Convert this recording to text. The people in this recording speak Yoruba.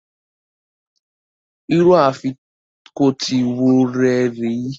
Irú Afikọ́tí wo rè é?